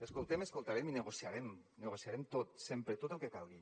escoltem escoltarem i negociarem ho negociarem tot sempre tot el que calgui